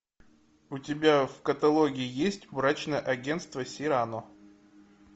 у тебя в каталоге есть брачное агенство сирано